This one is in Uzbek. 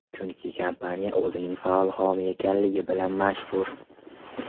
Chunki kompaniya o‘zining faol homiy ekanligi bilan mashhur.